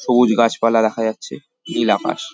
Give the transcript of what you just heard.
সবুজ গাছপালা দেখা যাচ্ছে নীল আকাশ।